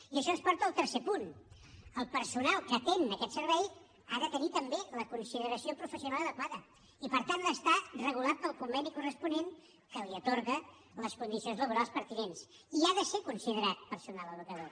i això ens porta al tercer punt el personal que atén aquest servei ha de tenir també la consideració professional adequada i per tant ha d’estar regulat pel conveni corresponent que li atorga les condicions laborals pertinents i ha de ser considerat personal educador